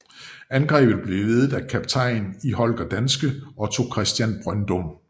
Angrebet blev ledet af kaptajn i Holger Danske Otto Christian Brøndum